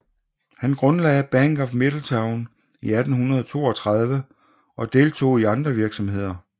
Han grundlagde Bank of Middletown i 1832 og deltog i andre virksomheder